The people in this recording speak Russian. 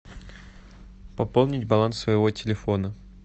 пополнить баланс своего телефона